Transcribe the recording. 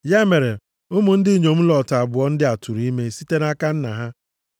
Ya mere, ụmụ ndị inyom Lọt abụọ ndị a tụrụ ime site nʼaka nna ha.